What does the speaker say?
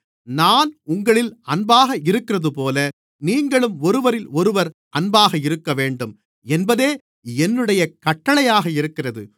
நான் உங்களில் அன்பாக இருக்கிறதுபோல நீங்களும் ஒருவரிலொருவர் அன்பாக இருக்கவேண்டும் என்பதே என்னுடைய கட்டளையாக இருக்கிறது